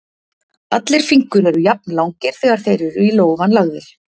Allir fingur eru jafnlangir þegar þeir eru í lófann lagðir.